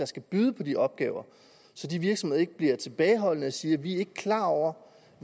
skal byde på de opgaver så de virksomheder ikke bliver tilbageholdende og siger vi er ikke klar over